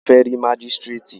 A fẹ́ rí mágístrètì.